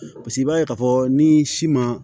paseke i b'a ye k'a fɔ ni si ma